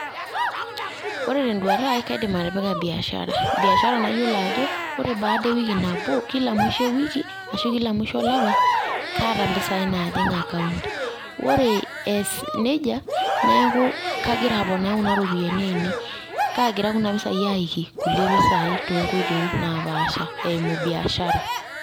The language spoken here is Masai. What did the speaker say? Ore tenduata aai kaidim atipika biashara, biashara nayiolo ajo ore kila mwisho ewiki ashu kila mwisho olapa kaata mpisai naajing account ore eas nejei neeku kagira aponaa kuna ropiyiani aainei kaagira kuna pesai aayaki kulie pesai tonkoitoi napaasha eimu biashara.